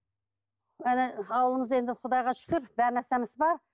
ана ауылымызда енді құдайға шүкір бар нәрсеміз бар